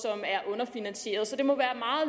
underfinansieret så det må